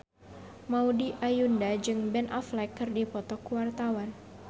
Maudy Ayunda jeung Ben Affleck keur dipoto ku wartawan